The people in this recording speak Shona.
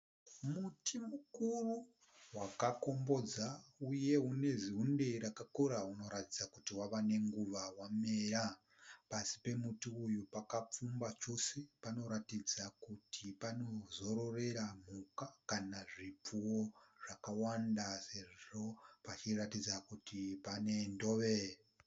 Muti mukuru wakakombodza uye une zunde rakakora kuratidza kuti wava nenguva wamera. Pasi pemuti uyu pakapfumba chose panoratidza kuti panozororera mhuka kana zvipfuwo zvakwanda sezvo pachiratidza kuti pane ndove.